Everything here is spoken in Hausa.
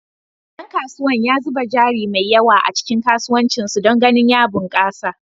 Dan kasuwan ya zuba jari mai yawa a cikin kasuwancin su don ganin ya bunkasa.